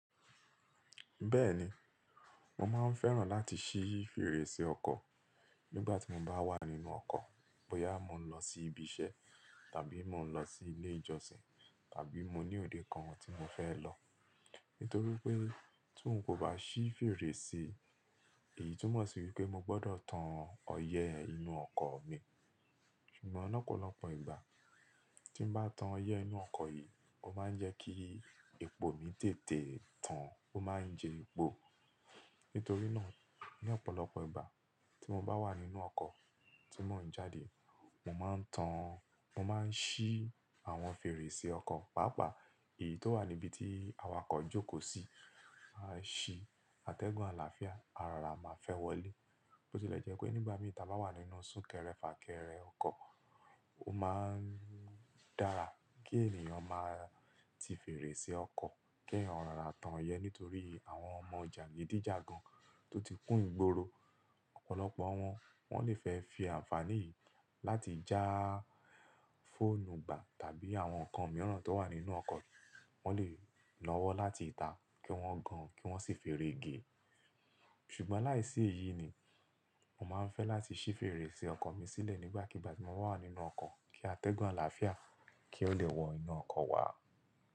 Bẹ́ẹ̀ni, mo máa ń fẹ́ràn láti ṣí fèrèsé ọkọ̀ nígbà tí mo bá wà nínú ọkọ̀ bóyá mo ń lọ sí ibi iṣẹ́ tàbí mo ń lọ sí ilé ìjọsìn tàbí mo ní òde kan tí mo fẹ́ lọ. Nítorí pé tí n kò bá ṣí fèrèsé, èyí túmọ̀ sí wípé mo gbọdọ̀ tan ọyẹ́ inú ọkọ̀ mi. Ṣùgbọ́n lọ́pọ̀lọpọ̀ ìgbà tí mo bá tan ọyẹ́ inú ọkọ̀ yìí, ó máa ń jẹ́ kí epo mi tètè tán, ó máa ń jẹ epo. Nítorí náà ní ọ̀pọ̀lọpọ̀ ìgbà tí mo bá wà nínú ọkọ̀ tí mò ń jáde, mo máa ń tan, mo máa ń ṣí àwọn fèrèsé ọkọ̀, pàápàá èyí tó wà níbi tí awakọ̀ jókòó sí. Ma ṣí, atẹ́gùn àlàáfíà, arora máa fẹ́ wọlé. Bó tí ó lè jẹ́ pé nígbàmi ta bá wà nínú sún kẹrẹfà, kẹrẹ ọkọ̀, ó máa ń dára kí ènìyàn máa ti fèrèsé ọkọ̀, kí ènìyàn rárá tan ọyẹ́ nítorí àwọn ọmọ jànìdíjàgan tó ti kún ìgboro, ọ̀pọ̀lọpọ̀ àwọn wọ́n lè fẹ́ fi àǹfàní yìí láti já fóònù gba tàbí àwọn nǹkan mìíràn tó wà nínú ọkọ̀, wọ́n lè lọ́wọ́ láti ta kí wọ́n gan, kí wọ́n sì fèrè ge. Ṣùgbọ́n láìsí èyí ni, mo máa ń fẹ́ láti ṣí fèrèsé ọkọ̀ mi sílẹ̀ nígbàkigbà tí mo wà nínú ọkọ̀ kí atẹ́gùn àlàáfíà kí ó le wọ inú ọkọ̀ wá.